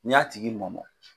N'i y'a tigi mɔmɔ